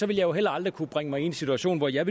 vil jeg heller aldrig kunne bringe mig i en situation hvor jeg